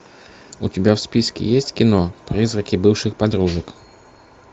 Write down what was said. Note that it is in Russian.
у тебя в списке есть кино призраки бывших подружек